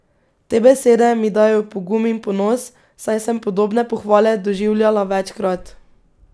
Te besede mi dajejo pogum in ponos, saj sem podobne pohvale doživljala večkrat.